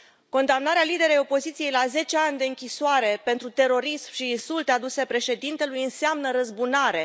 Condamnarea unor lideri ai opoziției la zece ani de închisoare pentru terorism și insulte aduse președintelui înseamnă răzbunare.